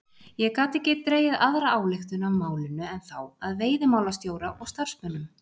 Ég gat ekki dregið aðra ályktun af málinu en þá að veiðimálastjóra og starfsmönnum